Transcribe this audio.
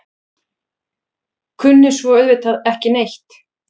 Kunni svo auðvitað ekki neitt.